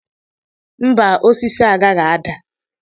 Mba! Osisi agaghị ada.